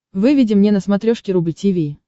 выведи мне на смотрешке рубль ти ви